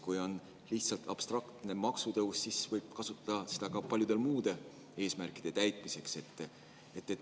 Kui on lihtsalt abstraktne maksutõus, siis võib kasutada seda ka paljude muude eesmärkide täitmiseks.